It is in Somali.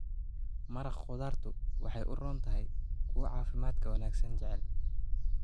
Maraq khudaartu waxay u roon tahay kuwa caafimaadka wanaagsan jecel.